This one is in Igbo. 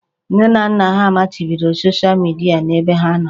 Nne na nna ha machibidoro soshịa midia n'ebe ha nọ